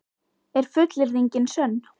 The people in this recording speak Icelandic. Er fullyrðingin sönn?